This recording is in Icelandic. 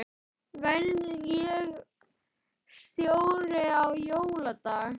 Verð ég stjóri á jóladag?